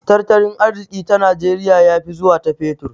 Tartalin arziki ta najeriya ya fi zuwa ta fetur